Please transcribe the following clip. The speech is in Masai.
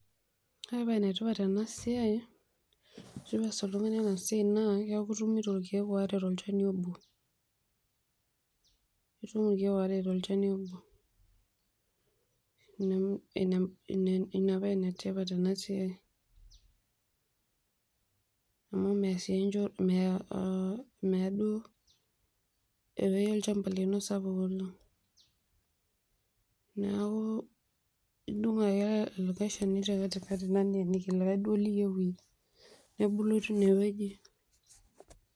Ore embae etipat tenasiai ashu pees oltung'ni enasiai na, keaku itumito irkiek aare tolchani obo, itum irkiek aare tolchani obo, ina paa enetipat enasiai meya duo ewoi sapuk neaku idung Ake likae shani tekatikati nimbungue likae duo liyieu iyienebulu tinewueji.